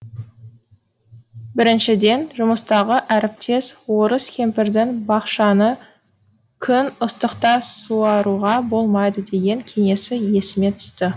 біріншіден жұмыстағы әріптес орыс кемпірдің бақшаны күн ыстықта суаруға болмайды деген кеңесі есіме түсті